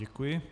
Děkuji.